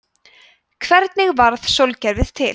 hvernig varð sólkerfið til